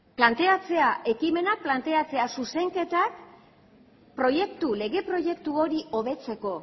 planteatzea ekimenak planteatzea zuzenketak lege proiektu hori hobetzeko